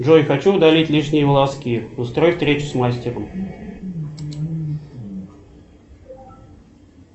джой хочу удалить лишние волоски устрой встречу с мастером